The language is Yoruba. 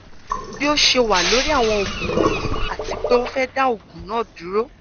bi o ṣe wa lori awọn oogun wọnyi ati pe o fẹ da oogun naa duro